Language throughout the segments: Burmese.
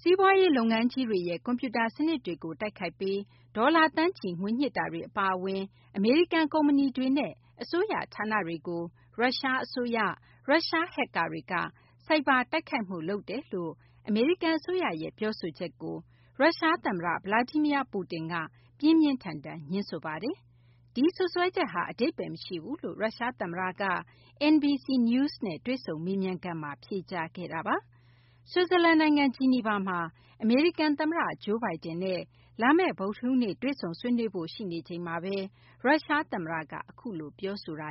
စီးပွားရေး လုပ်ငန်းကြီးတွေရဲ့ ကွန်ပျူတာ စနစ်တွေကို တိုက်ခိုက်ပြီး ဒေါ်လာ သန်းချီ ငွေညှစ်တာတွေ အပါအဝင် အမေရိကန် ကုမ္ပဏီတွေနဲ့ အစိုးရ ဌာနတွေကို ရုရှား အစိုးရ၊ ရုရှား ဟက်ကာတွေက ဆိုက်ဘာ တိုက်ခိုက်မှု လုပ်တယ်လို့ အမေရိကန် အစိုးရရဲ့ ပြောဆိုချက်ကို ရုရှား သမ္မတ Vladimir Putin က ပြင်းပြင်းထန်ထန် ငြင်းဆိုပါတယ်။ ဒီစွပ်စွဲချက်ဟာ အဓိပ္ပါယ် မရှိဘူးလို့ ရုရှား သမ္မတ Putin က NBC News နဲ့ တွေ့ဆုံ မေးမြန်းခန်းမှာ ပြောဆိုထားတာပါ။ ဆွစ်ဇာလန် နိုင်ငံ ဂျီနီဗာမှာ အမေရိကန် သမ္မတ Joe Biden နဲ့ လာမယ့် ဗုဒ္ဓဟူးနေ့ တွေ့ဆုံဆွေးနွေးဖို့ ရှိနေချိန်မှာဘဲ ရုရှား သမ္မတ Putin က အခုလို ပြောဆိုခဲ့တာ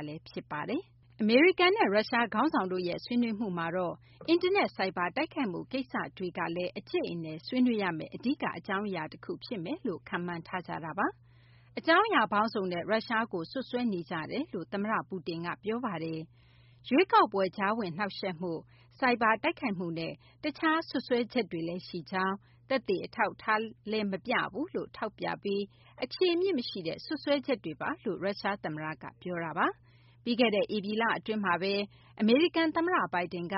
ပါ။ အမေရိကန်နဲ့ ရုရှား ခေါင်းဆောင်တို့ရဲ့ ဆွေးနွေးမှုမှာတော့ အင်တာနက် ဆိုက်ဘာ တိုက်ခိုက်မှု ကိစ္စတွေကလည်း အကြိတ်အနယ် ဆွေးနွေးရမယ့် အဓိက အကြောင်းအရာ တခု ဖြစ်မယ်လို့ ခန့်မှန်းထားကြပါတယ်။ အကြောင်းအရာ ပေါင်းစုံနဲ့ ရုရှားကို စွပ်စွဲနေကြပါတယ်လို့ သမ္မတ Putin က ပြောပါတယ်။ ရွေးကောက်ပွဲ ကြားဝင်နှောင့်ယှက်မှု၊ ဆိုက်ဘာ တိုက်ခိုက်မှု နဲ့ တခြား စွပ်စွဲချက်တွေလည်း ရှိကြောင်း၊ သက်သေ အထောက်အထားလည်း မပြဘူးလို့ ထောက်ပြပြီး အခြေအမြစ် မရှိတဲ့ စွပ်စွဲချက်တွေလို့ ရုရှား သမ္မတ က ပြောဆိုခဲ့တာပါ။ ပြီးခဲ့တဲ့ ဧပြီလ အတွင်းမှာဘဲ အမေရိကန် သမ္မတ Biden က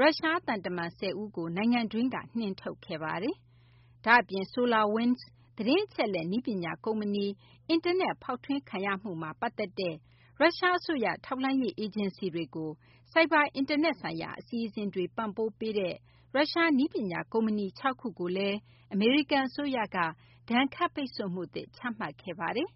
ရုရှား သံတမန် ၁၀ ဦးကို နိုင်ငံတွင်းကနေ နှင်ထုတ်ခဲ့ပါတယ်။ ဒါ့အပြင် SolarWinds သတင်းအချက်အလက် နည်းပညာ ကုမ္ပဏီကို အင်တာနက် ဖောက်ထွင်းခဲ့မှုမှာ ပတ်သက်တဲ့ရုရှား အစိုးရ ထောက်လှမ်းရေး အေဂျင်စီတွေကို ဆိုက်ဘာ အင်တာနက်ဆိုင်ရာ အစီအစဉ်တွေ ပံ့ပိုးပေးနေတဲ့ ရုရှား နည်းပညာ ကုမ္ပဏီ ၆ ခုကိုလည်း အမေရိကန် အစိုးရက ဒဏ်ခတ်ပိတ်ဆို့မှုသစ် ချမှတ်ခဲ့ပါတယ်။